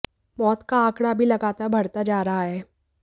मौत का आंकड़ा भी लगातार बढ़ता जा रहा है